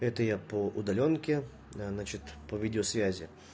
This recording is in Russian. это я по удалёнке значит по видеосвязи